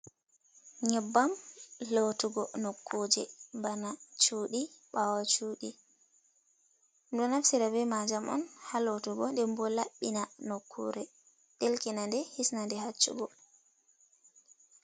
Nyebbam lotugo nokuje bana cudi, bawo cudi, ɗomdo naftiira be majam on ha lottugo denbo lamɓina nokkure delkinaɗe hisnanɗe haccugo.